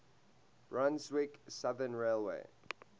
brunswick southern railway